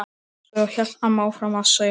Svo hélt amma áfram að sauma.